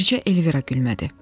Bircə Elvira gülmədi.